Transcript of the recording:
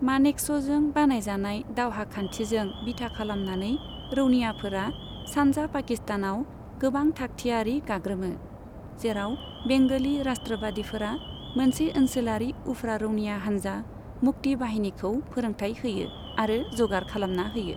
मानेकश'जों बानायजानाय दावहा खान्थिजों बिथा खालामनानै, रौनियाफोरा सानजा पाकिस्तानाव गोबां थाकथियारि गाग्रोमो, जेराब बेंग'लि राष्ट्रबादिफोरा मोनसे ओनसोलारि उफ्रा रौनिया हानजा मुक्ति बाहिनीखौ फोरोंथाइ होयो आरो जगार खालामना होयो।